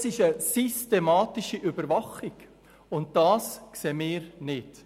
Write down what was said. Das ist eine systematische Überwachung, und dies befürworten wir nicht.